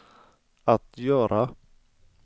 att göra